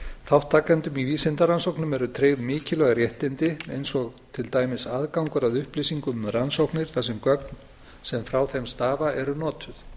þátttakendum í vísindarannsóknum eru tryggð mikilvæg réttindi eins og til dæmis aðgangur að upplýsingum um rannsóknir þar sem gögn sem frá þeim stafa eru notuð